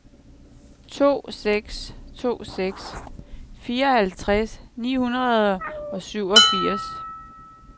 to seks to seks fireoghalvtreds ni hundrede og syvogfirs